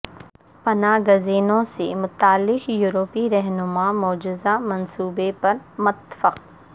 پناہ گزینوں سے متعلق یورپی رہنما مجوزہ منصوبے پر متفق